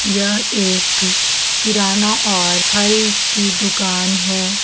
यह एक किराना और फल की दुकान है।